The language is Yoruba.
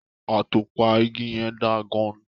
Atọpa igi yẹn da gan-an.